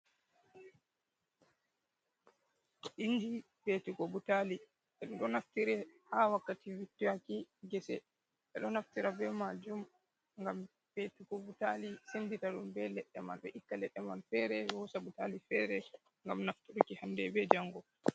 Inji fetugo butali. Ɓedo naftire ha wakkati vittaki gese. Ɓedo naftira be ma jum gam fetugo butali sendita dum be leɗɗe man. Ɓe itta ledde man fere ɓe hosa butali fere gam naftaruki hanɗe ɓe jango.